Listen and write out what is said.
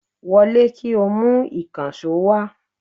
Wọlé, kí o mu ìkànsó wa